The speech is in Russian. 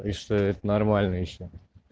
и что это нормально ещё